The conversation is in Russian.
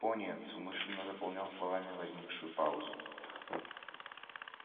пониетс умышленно заполнял словами возникшую паузу